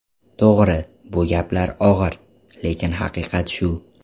To‘g‘ri, bu gaplar og‘ir, lekin haqiqat shu.